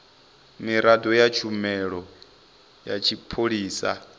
miraḓo ya tshumelo ya tshipholisa